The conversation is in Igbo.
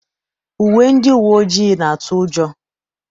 Uwe ndị uwe ojii na-atụ ụjọ.